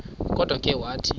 kodwa ke wathi